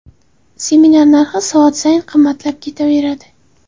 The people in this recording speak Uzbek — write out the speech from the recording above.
Seminar narxi soat sayin qimmatlab ketaveradi.